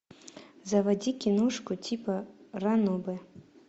заводи киношку типа ранобэ